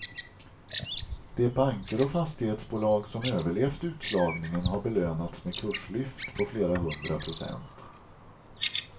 De banker och fastighetsbolag som överlevt utslagningen har belönats med kurslyft på flera hundra procent.